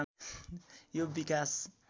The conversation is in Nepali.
यो विकास